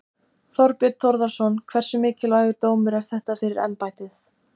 Þorbjörn Þórðarson: Hversu mikilvægur dómur er þetta fyrir embættið?